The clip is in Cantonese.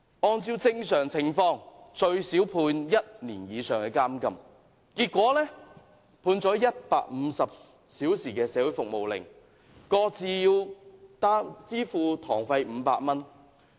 按照正常情況，他們最少會被判處1年以上的監禁，結果判了150小時社會服務令，各自支付500元堂費。